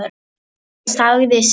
Það sagði sitt.